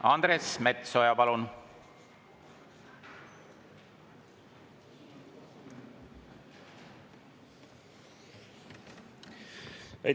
Andres Metsoja, palun!